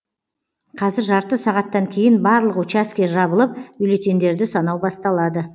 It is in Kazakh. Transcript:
қазір жарты сағаттан кейін барлық учаске жабылып бюллетеньдерді санау басталады